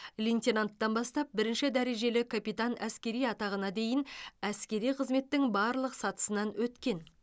лейтенанттан бастап бірінші дәрежелі капитан әскери атағына дейін әскери қызметтің барлық сатысынан өткен